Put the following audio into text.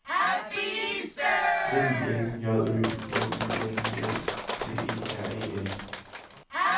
M I L J Ø M I N I S T E R E N